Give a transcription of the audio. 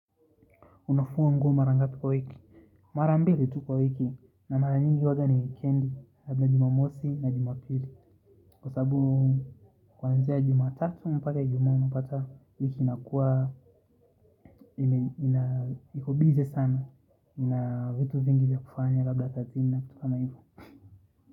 Unafua nguo mara ngapi kwa wiki mara mbili tu kwa wiki na mara nyingi wala ni wikendi labda jumamosi na jumapili kwasababu kuanzia jumatatu mpaka ijumaa unapata wiki inakuwa iko busy sana ina vitu vingi vya kufanya labda kazini na vitu kama hivo.